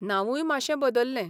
नांवूय माशें बदल्लें.